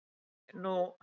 Nei, nú?